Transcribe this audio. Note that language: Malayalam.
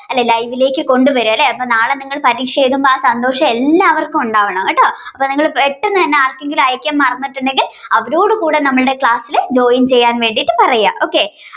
അല്ലേ live ക്ക് കൊണ്ടുവരുക അല്ലേ അപ്പോ നാളെ നിങ്ങൾ ഈ പരീക്ഷ എഴുതുമ്പോൾ ആ സന്തോഷം നിങ്ങൾ എല്ലാവർക്കും ഉണ്ടാവണം കേട്ടോ. അപ്പോൾ നിങ്ങൾ പെട്ടെന്ന് തന്നെ ആർക്കെങ്കിലും അയക്കാൻ മറന്നിട്ടുണ്ടെങ്കിൽ അവരോട് കൂടെ നമ്മുടെ ക്ലാസിലു join ചെയ്യാആയിട്ടു പറയുക okay